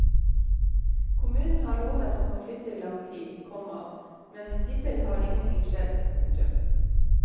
Kommunen har lovet ham å flytte i lang tid, komma men hittil har ingenting skjedd. punktum